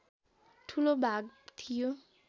ठूलो भाग थियो